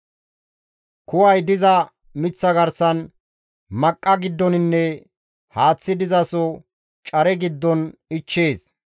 Kuway diza miththa garsan, maqqa giddoninne haaththi dizaso care giddon ichchees.